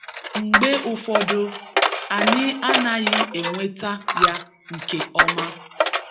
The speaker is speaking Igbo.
Mgbe ụfọdụ, anyị anaghị enweta ya nke ọma